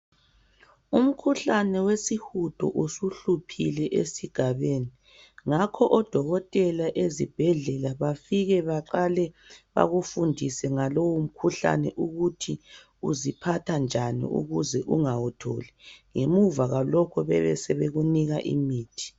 Umkhuhlane wesihudo usuhluphile esigabeni ngakho odokotela ezibhedlela bafike baqale bekufundise ngalowo mkhuhlane ukuthi usiphatha njani ukuze ungawutholi ngemuva kwalokhu besebekunika imithi.